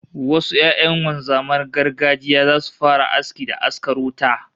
Wasu 'ya'yan wanzaman gargajiya zasu fara aski da askar wuta